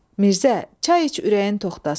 Mirzə, çay iç ürəyin toxtasın.